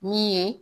Min ye